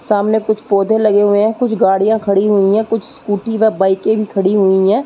सामने कुछ पौधे लगे हुए हैं। कुछ गाडीयाँ खड़ी हुई हैं कुछ स्कूटी व बाइके भी खड़ी हुई हैं।